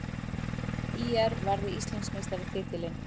ÍR varði Íslandsmeistaratitilinn